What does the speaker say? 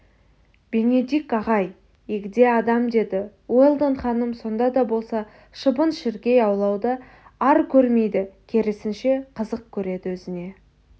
бенедикт ағай егде адам деді уэлдон ханым сонда да болса шыбын-шіркей аулауды ар көрмейді керісінше қызық көреді өзіне